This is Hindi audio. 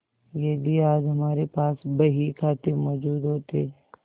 यदि आज हमारे पास बहीखाते मौजूद होते